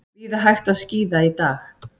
Víða hægt að skíða í dag